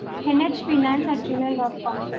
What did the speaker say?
NH finance at gmail dot com sir